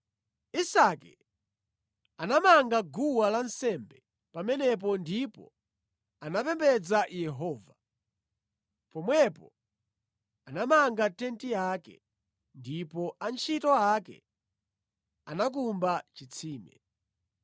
Isake anamanga guwa lansembe pamenepo ndipo anapembedza Yehova. Pomwepo anamanga tenti yake, ndipo antchito ake anakumba chitsime.